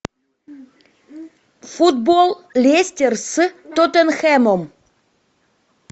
футбол лестер с тоттенхэмом